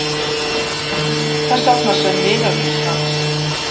Hvers annars en vinar míns, hans